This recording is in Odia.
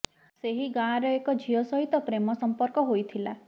ସେହି ଗାଁର ଏକ ଝିଅ ସହିତ ପ୍ରେମ ସଂପର୍କ ହୋଇଥିଲା